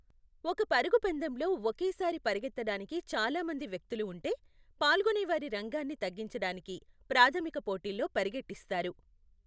ఒక పరుగు పందెంలో ఒకేసారి పరుగెత్తడానికి చాలా మంది వ్యక్తులు ఉంటే, పాల్గొనేవారి రంగాన్ని తగ్గించడానికి ప్రాధమిక పోటీల్లో పరుగెట్టిస్తారు .